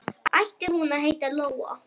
Ætli hún heiti Lóa?